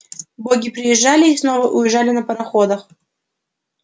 боги приезжали и снова уезжали на пароходах